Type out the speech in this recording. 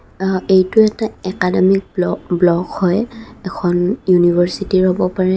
আ এইটো এটা অকাডেমি ব্লক ব্লক হয় ইউনিভাৰ্চিটি হ'ব পাৰে.